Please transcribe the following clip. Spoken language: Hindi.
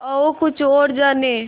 आओ कुछ और जानें